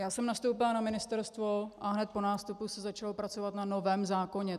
Já jsem nastoupila na ministerstvo a hned po nástupu se začalo pracovat na novém zákoně.